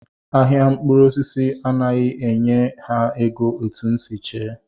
Ahịa mkpụrụosisi anaghị enye ha ego etu m si chee